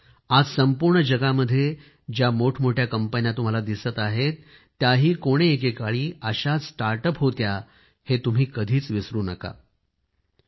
आणखी एक आज संपूर्ण जगामध्ये ज्या मोठमोठ्या कंपन्या तुम्हाला दिसत आहेत त्याही कोणे एके काळी अशाच स्टार्टअप होत्या हे तुम्ही कधीच विसरू नका